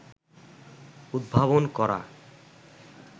উদ্ভাবন করা